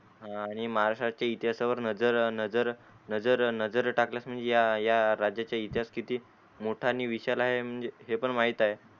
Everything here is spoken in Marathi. आणि महाराष्टचे इतिहासा वर नजर नजर नजर नजर टाकल्या वर म्हणजे या या राज्याचे इतिहास किती मोठ आणि विशाल आहे म्हणजे हे पण माहीत आहे.